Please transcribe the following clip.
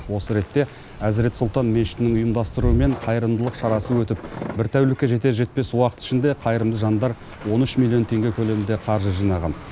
осы ретте әзірет сұлтан мешітінің ұйымдастыруымен қайырымдылық шарасы өтіп бір тәулікке жетер жетпес уақыт ішінде қайырымды жандар он үш миллион теңге көлемінде қаржы жинаған